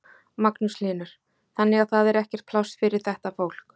Magnús Hlynur: Þannig að það er ekkert pláss fyrir þetta fólk?